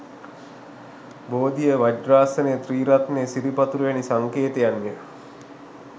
බෝධිය, වජ්‍රාසනය, ත්‍රිරත්නය, සිරිපතුල වැනි සංකේතයන් ය.